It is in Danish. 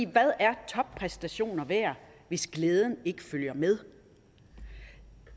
hvad er toppræstationer værd hvis glæden ikke følger med